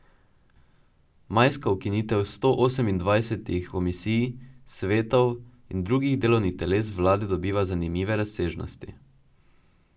Majska ukinitev sto osemindvajsetih komisij, svetov in drugih delovnih teles vlade dobiva zanimive razsežnosti.